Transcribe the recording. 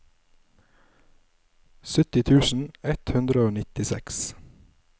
sytti tusen ett hundre og nittiseks